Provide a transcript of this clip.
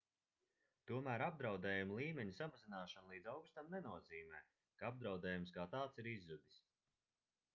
tomēr apdraudējuma līmeņa samazināšana līdz augstam nenozīmē ka apdraudējums kā tāds ir izzudis